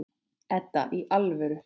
Edda, í alvöru.